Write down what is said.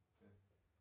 Ja